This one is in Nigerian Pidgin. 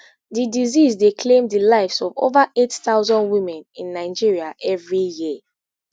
di disease dey claim di lives of over eight thousand women in nigeria evri year